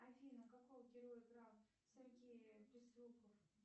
афина какого героя играл сергей безруков